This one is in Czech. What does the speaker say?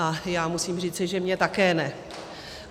A já musím říci, že mně také ne.